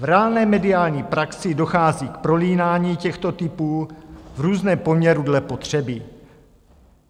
V reálné mediální praxi dochází k prolínání těchto typů v různém poměru dle potřeby.